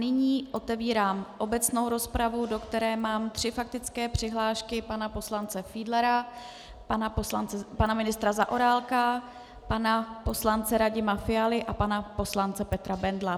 Nyní otevírám obecnou rozpravu, do které mám tři faktické přihlášky: pana poslance Fiedlera, pana ministra Zaorálka, pana poslance Radima Fialy a pana poslance Petra Bendla.